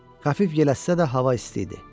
Xəfif yel əssə də hava isti idi.